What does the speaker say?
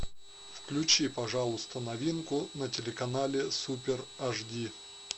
включи пожалуйста новинку на телеканале супер ашди